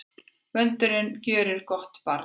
Vöndurinn gjörir gott barn.